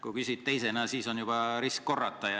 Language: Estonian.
Kui küsid teisena, siis on juba risk korrata.